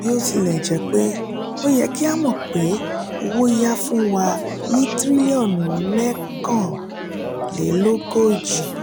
bòtilèjépé o ye kí a mọ pé owo-ya fún wa ní tiriliọnu mẹ́kànlélógójì